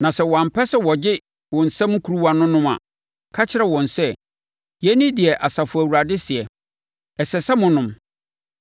Na sɛ wɔampɛ sɛ wɔgye wo nsam kuruwa no nom a, ka kyerɛ wɔn sɛ, ‘Yei ne deɛ Asafo Awurade seɛ: Ɛsɛ sɛ monom!